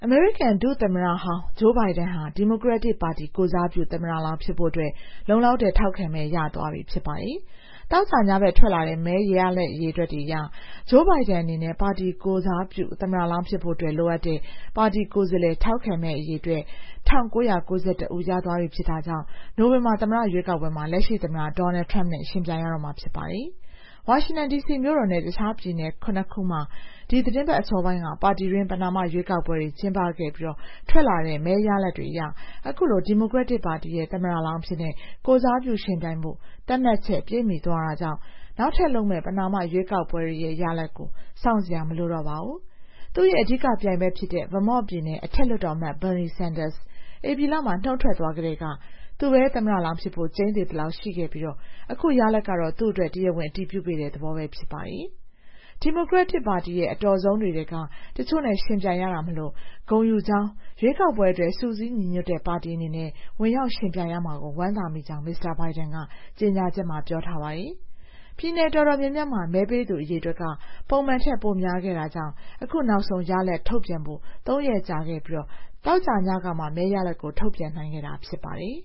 မေရိကန် ဒုတိယသမ္မတဟောင်း Joe Biden ဟာ ဒီမိုကရက်တစ်ပါတီ ကိုယ်စားပြု သမ္မတလောင်း ဖြစ်ဖို့အတွက် လုံလောက်တဲ့ ထောက်ခံမဲ ရသွားပြီဖြစ်ပါတယ်။ သောကြာညဘက်က ထွက်လာတဲ့ မဲရလဒ်တွေအရ Joe Biden အနေနဲ့ ပါတီကိုယ်စားပြု သမ္မတလောင်းဖြစ်ဖို့ လိုအပ်တဲ့ ပါတီကိုယ်စားလှယ် ထောက်ခံမဲ အရေအတွက် ၁,၉၉၁ ဦး ရသွားပြီဖြစ်တာကြောင့် နိုဝင်ဘာလ သမ္မတ ရွေးကောက်ပွဲမှာ လက်ရှိသမ္မတ Donald Trump နဲ့ ယှဉ်ပြိုင်ရတော့မှာ ဖြစ်ပါတယ်။ ဝါရှင်တန်ဒီစီမြို့တော်နဲ့ တခြား ပြည်နယ် ၇ ခုမှာ ဒီသီတင်းပတ် အစောပိုင်းက ပါတီတွင်း ပဏာမရွေးကောက်ပွဲတွေ ကျင်းပခဲ့ပြီး ထွက်လာတဲ့ မဲရလဒ်တွေအရ အခုလို ဒီမိုကရက်တစ်ပါတီရဲ့ သမ္မတလောင်းအဖြစ် ကိုယ်စားပြုယှဉ်ပြိုင်ဖို့ သတ်မှတ်ချက် ပြည့်မီသွားတာကြောင့် နောက်ထပ်လုပ်မယ့် ပဏာမ ရွေးကောက်ပွဲတွေရဲ့ ရလဒ်ကို စောင့်စရာမလိုတော့ပါဘူး။ သူ့ရဲ့ အဓိကပြိုင်ဘက်ဖြစ်တဲ့ Vermont ပြည်နယ် အထက်လွှတ်တော်အမတ် Bernie Sanders ဧပြီလမှာ နုတ်ထွက်သွားကတည်းက သူပဲ သမ္မတလောင်းဖြစ်ဖို့ ကျိန်းသေသလောက်ရှိခဲ့ပြီး အခုရလဒ်ကတော့ သူ့အတွက် တရားဝင် အတည်ပြုပေးတဲ့ သဘောပဲ ဖြစ်ပါတယ်။ ဒီမိုကရက်ပါတီရဲ့ အတော်ဆုံးတွေထဲက တချို့နဲ့ ယှဉ်ပြိုင်ခဲ့ရတာမို့ ဂုဏ်ယူကြောင်း၊ ရွေးကောက်ပွဲအတွက် စုစည်းညီညွတ်တဲ့ ပါတီအနေနဲ့ ဝင်ရောက်ယှဉ်ပြိုင်ရမှာကို ဝမ်းသာမိကြောင်း Mr. Biden က ပြောပါတယ်။ ပြည်နယ်တော်တော်များများမှာ မဲပေးသူအရေအတွက်က ပုံမှန်ထက် ပိုများခဲ့တာကြောင့် အခုနောက်ဆုံး ရလဒ်ထုတ်ပြန်ဖို့ ၃ ရက်ကြာခဲ့ပြီး သောကြာညကမှ မဲရလဒ်တွေ ထုတ်ပြန်နိုင်ခဲ့တာ ဖြစ်ပါတယ်